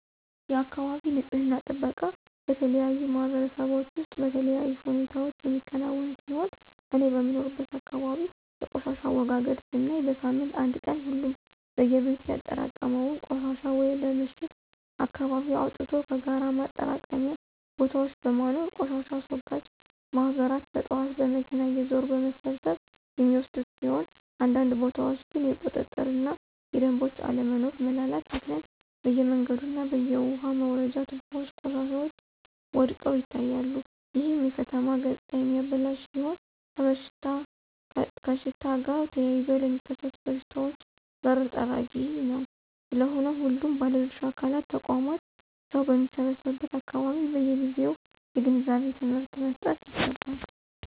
የአካባቢ ንፅህና ጥበቃ በተለያዩ ማህበረሰቦች ውስጥ በተለያዩ ሁኔታዎች የሚከናወን ሲሆን እኔ በምኖርበት አካባቢ የቆሻሻ አወጋገድ ስናይ በሳምንት አንድ ቀን ሁሉም በየቤቱ ያጠራቀመውን ቆሻሻ ወደ ምሽት አካባቢ አወጥቶ ከጋራ ማጠራቀሚያ ቦታዎች በማኖር ቆሻሻ አስወጋጅ ማህበራት በጥዋት በመኪና እየዞሩ በመሰብሰብ የሚወስዱት ሲሆን አንዳንድ ቦታዎች ግን የቁጥጥር እና የደምቦች አለመኖሮ (መላላት)ምክንያት በየመንገዱ እና በየውሃ መውረጃ ትቦዎች ቆሻሻዎች ወድቀው ይታያሉ ይህም የከተማ ገፅታ የሚያበላሽ ሲሆን ከሽታ ጋር ተያይዘው ለሚከሰቱ በሽታዎች በር ጠራጊ ነው። ስለሆነም ሁሉም ባለድርሻ አካላት (ተቋማት) ሰው በሚሰበሰቡበት አካባቢዎች በየጊዜው የግንዛቤ ትምህርት መሰጠት ይገባል።